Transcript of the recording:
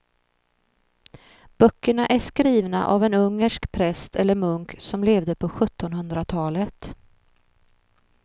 Böckerna är skrivna av en ungersk präst eller munk som levde på sjuttonhundratalet.